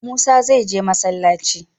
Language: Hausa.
Musa is going to mosque.